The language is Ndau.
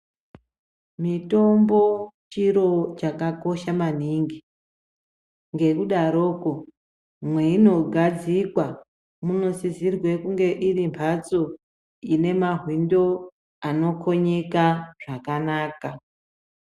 Mitombo chiro chakakosha maningi ngekudaroko mweinogadzirwa munosisirwe kunge irimbatso ine mawindo anokonyeka zvakanaka.